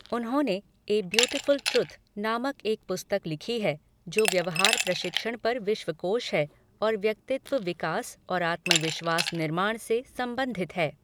उन्होंने 'a beautiful truth' नामक एक पुस्तक लिखी है जो "व्यवहार प्रशिक्षण पर विश्वकोश है और व्यक्तित्व विकास और आत्मविश्वास निर्माण से संबंधित है"।